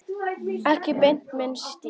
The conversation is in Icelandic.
Ekki beint minn stíll.